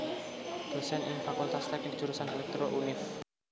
Dosen ing Fakultas Teknik Jurusan Elektro Univ